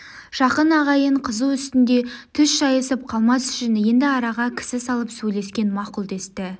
жақын ағайын қызу үстінде түс шайысып қалмас үшін енді араға кісі салып сөйлескен мақұл десті